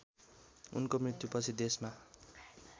उनको मृत्युपछि देशमा